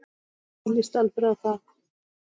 Hvernig lýst Alfreð á það?